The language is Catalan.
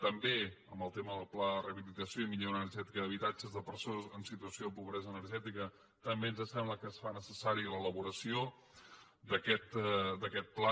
també en el tema del pla de rehabilitació i millora energètica d’habitatges de persones en situació de pobresa energètica també ens sembla que es fa necessària l’elaboració d’aquest pla